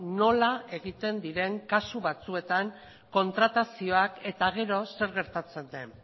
nola egiten diren kasu batzuetan kontratazioak eta gero zer gertatzen den